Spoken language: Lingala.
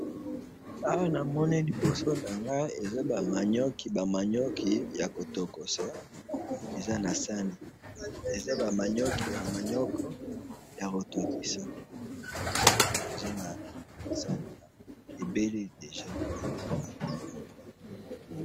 awa namoni liboso na ngayi eza ba manioc ba manioc ya kotokisa ebeli deja